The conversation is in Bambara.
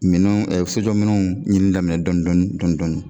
Minnu sojɔ minɛww ɲinini daminɛ dɔɔnin dɔɔnin.